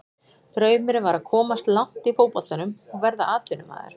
Draumurinn var að komast langt í fótboltanum og verða atvinnumaður.